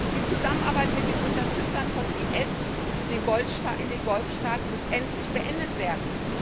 Die Zusammenarbeit mit den Unterstützern des IS in den Golfstaaten muss endlich beendet werden.